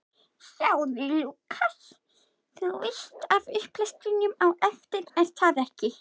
Þú veist af upplestrinum á eftir, er það ekki?